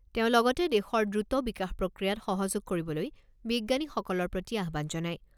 তেওঁ লগতে দেশৰ দ্ৰুত বিকাশ প্ৰক্ৰিয়াত সহযোগ কৰিবলৈ বিজ্ঞানীসকলৰ প্ৰতি আহ্বান জনায়।